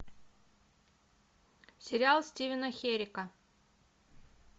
сериал стивена херика